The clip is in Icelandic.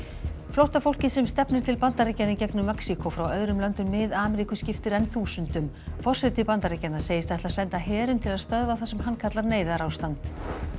flóttafólkið sem stefnir til Bandaríkjanna í gegnum Mexíkó frá öðrum löndum Mið Ameríku skiptir enn þúsundum forseti Bandaríkjanna segist ætla að senda herinn til að stöðva það sem hann kallar neyðarástand